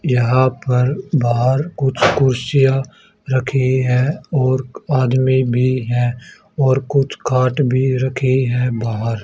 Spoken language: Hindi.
यहां पर बाहर कुछ कुर्सियां रखी है और आदमी भी हैं और कुछ खाट भी रखी हैं बाहर।